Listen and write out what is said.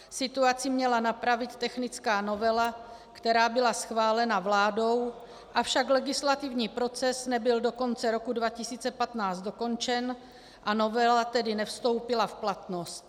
Situaci měla napravit technická novela, která byla schválena vládou, avšak legislativní proces nebyl do konce roku 2015 dokončen, a novela tedy nevstoupila v platnost.